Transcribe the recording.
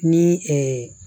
Ni